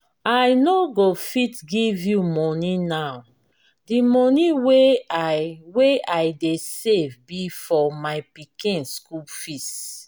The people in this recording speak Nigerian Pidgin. i no go fit give you money now the money wey i wey i dey save be for my pikin school fees